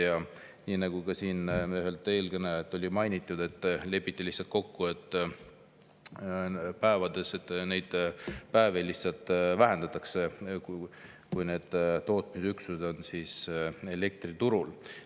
Ja nii nagu siin üks eelkõneleja mainis, lepiti lihtsalt kokku selles, et lihtsalt vähendatakse nende päevade arvu, kui need tootmisüksused on elektriturul.